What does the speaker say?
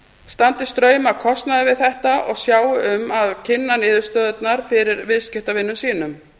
standi straum af kostnaði við þetta og sjái um að kynna niðurstöðurnar fyrir viðskiptavinum sínum